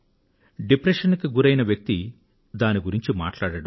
depression కు గురైన వ్యక్తి కూడా దాని గురించి మాట్లాడడు